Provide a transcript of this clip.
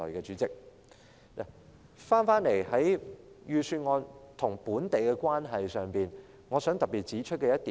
說回預算案與本地的關係，我想特別指出一點。